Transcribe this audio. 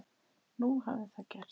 Nú hafði það gerst.